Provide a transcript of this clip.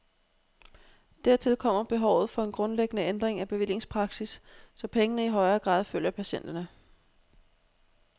Dertil kommer behovet for en grundlæggende ændring af bevillingspraksis, så pengene i højere grad følger patienterne.